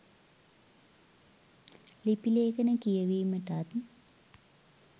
ලිපි ලේඛන කියවීමටත්